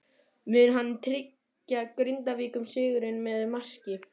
Mun hann tryggja Grindvíkingum sigurinn með marki?